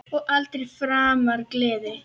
Og aldrei framar gleði.